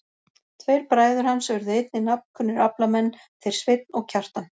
Tveir bræður hans urðu einnig nafnkunnir aflamenn, þeir Sveinn og Kjartan.